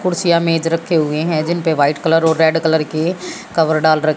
कुर्सियां मेज रखे हुए हैं जिनपे वाइट कलर और रेड कलर के कवर डाल--